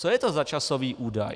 Co je to za časový údaj?